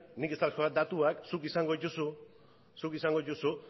nik ez dauzkat datuak zuk izango dituzu